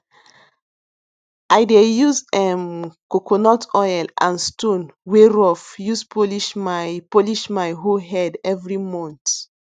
i dey use um coconut oil and stone wey rough use polish my polish my hoe head every month